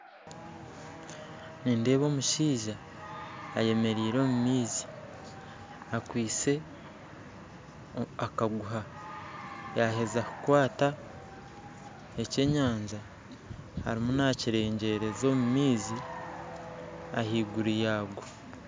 Nindeeba omushaija eyemereire omu maizi akwitse akaguha yaaheza kukwata ekyenyanja ariyo naakirengyeza ahaiguru y'amaizi